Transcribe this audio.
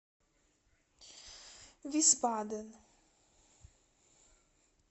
висбаден